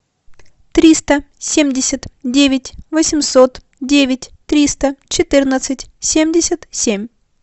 триста семьдесят девять восемьсот девять триста четырнадцать семьдесят семь